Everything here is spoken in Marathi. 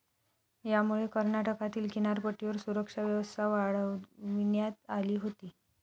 यामुळे कर्नाटकातील किनारपट्टीवर सुरक्षा व्यवस्था वाढविण्यात आली होती.